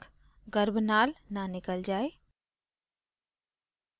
a गर्भनाल न निकल जाय